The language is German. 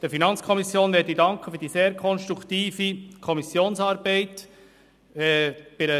Der FiKo möchte ich für die sehr konstruktive Kommissionsarbeit danken.